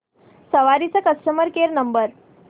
सवारी चा customer care number